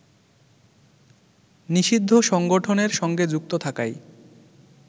নিষিদ্ধ সংগঠনের সঙ্গে যুক্ত থাকায়